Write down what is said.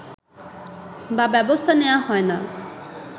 বা ব্যবস্থা নেয়া হয়না